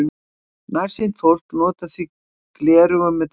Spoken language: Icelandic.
Nærsýnt fólk notar því gleraugu með dreifigleri.